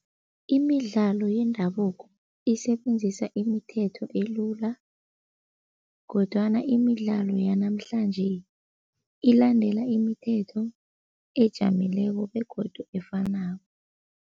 Imidlalo yendabuko isebenzisa imithetho elula kodwana imidlalo yanamhlanje ilandela imithetho ejamileko begodu efanako.